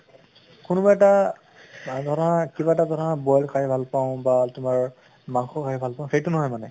কোনোবা এটা বা ধৰা কিবা এটা ধৰা boil খাই ভাল পাওঁ বা তোমাৰ মাংস খাই ভাল পাওঁ, সেইটো নহয় মানে